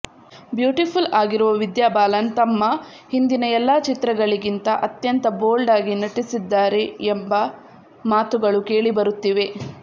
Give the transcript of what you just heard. beautiful ಆಗಿರುವ ವಿದ್ಯಾ ಬಾಲನ್ ತಮ್ಮ ಹಿಂದಿನ ಎಲ್ಲ ಚಿತ್ರಗಳಿಗಿಂತ ಅತ್ಯಂತ ಬೋಲ್ಡಾಗಿ ನಟಿಸಿದ್ದಾರೆ ಎಂಬ ಮಾತುಗಳು ಕೇಳಿಬರುತ್ತಿವೆ